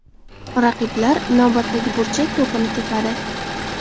Raqiblar navbatdagi burchak to‘pini tepadi.